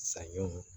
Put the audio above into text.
Saɲɔnw